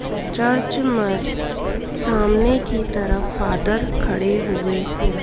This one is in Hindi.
चर्च में सामने की तरफ फादर खड़े हुए हैं।